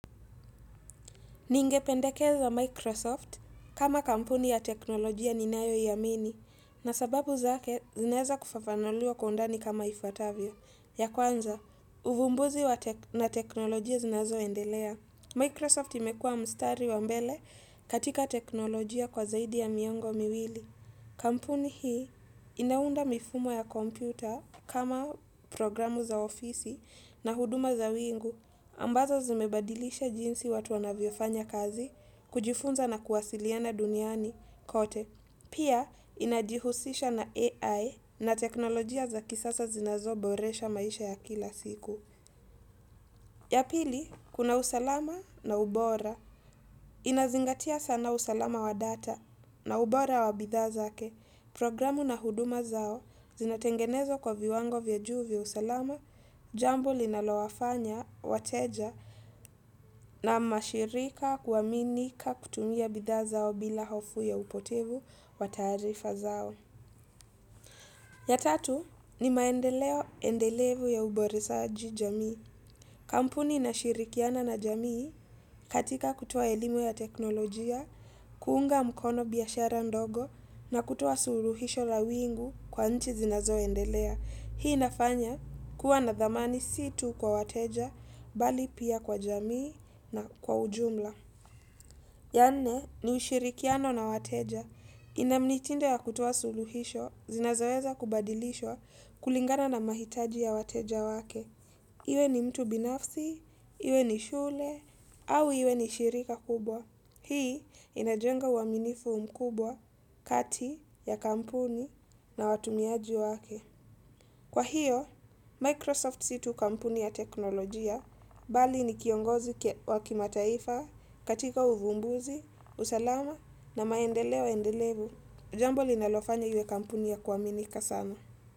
Ningependekeza Microsoft kama kampuni ya teknolojia ninayo iamini na sababu zake zinaeza kufafanuliwa kwa undani kama ifuatavyo. Ya kwanza, uvumbuzi wa na teknolojia zinazo endelea. Microsoft imekuwa mstari wa mbele katika teknolojia kwa zaidi ya miongo miwili. Kampuni hii inaunda mifumo ya kompyuta kama programu za ofisi na huduma za wingu. Ambazo zimebadilisha jinsi watu wana mvyofanya kazi kujifunza na kuwasiliana duniani kote. Pia, inajihusisha na AI na teknolojia za kisasa zinazoboresha maisha ya kila siku. Ya pili, kuna usalama na ubora. Inazingatia sana usalama wa data na ubora wa bidhaa zake. Programu na huduma zao zinatengenezwa kwa viwango vya juu vya usalama, jambo linalowafanya, wateja na mashirika kuaminika kutumia bidhaa zao bila hofu ya upotevu wa tarifa zao. Ya tatu ni maendeleo endelevu ya uboreshaji jamii. Kampuni inashirikiana na jamii katika kutoa elimu ya teknolojia, kuunga mkono biashara ndogo na kutoa suluhisho la wingu kwa nchi zinazo endelea. Hii inafanya kuwa na dhamani si tu kwa wateja, bali pia kwa jamii na kwa ujumla. Ya nne, ni ushirikiano na wateja. Ina mnitinde ya kutoa suluhisho, zinazoweza kubadilishwa kulingana na mahitaji ya wateja wake. Iwe ni mtu binafsi, iwe ni shule, au iwe ni shirika kubwa. Hii inajenga uaminifu mkubwa, kati, ya kampuni, na watumiaji wake. Kwa hiyo, Microsoft si tu kampuni ya teknolojia bali ni kiongozi wa kimataifa katika uvumbuzi, usalama na maendeleo endelevu. Jambo linalofanya iwe kampuni ya kuaminika sana.